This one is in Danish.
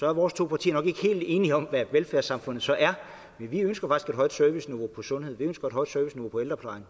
er vores to partier nok ikke helt enige om hvad et velfærdssamfund så er men vi ønsker faktisk et højt serviceniveau på sundhed vi ønsker et højt serviceniveau på ældreplejen